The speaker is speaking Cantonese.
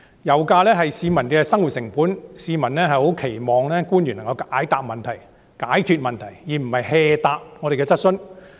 油價是市民的生活成本，市民十分期望官員能夠解決他們的問題，而不是敷衍地回答我們的質詢。